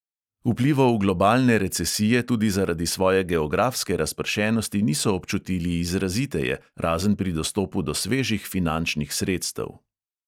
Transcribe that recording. Vplivov globalne recesije tudi zaradi svoje geografske razpršenosti niso občutili izraziteje, razen pri dostopu do svežih finančnih sredstev.